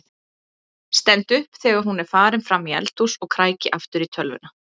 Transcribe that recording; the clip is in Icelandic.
Stend upp þegar hún er farin fram í eldhús og kræki aftur í tölvuna.